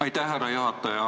Aitäh, härra juhataja!